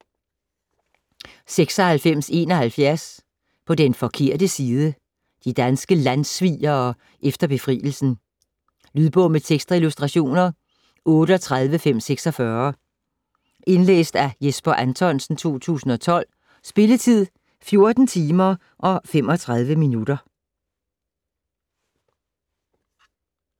96.71 På den forkerte side De danske landssvigere efter befrielsen. Lydbog med tekst og illustrationer 38546 Indlæst af Jesper Anthonsen, 2012. Spilletid: 14 timer, 35 minutter.